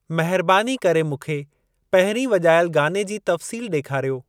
महिरबानी करे मूंखे पहिरीं वॼायल गाने जी तफ़्सील ॾेखारियो।